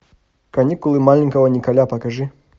каникулы маленького николя покажи